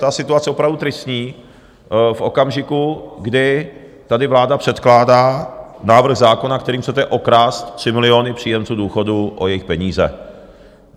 Ta situace je opravdu tristní, v okamžiku, kdy tady vláda předkládá návrh zákona, kterým chcete okrást 3 miliony příjemců důchodů o jejich peníze.